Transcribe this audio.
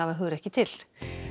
hugrekki til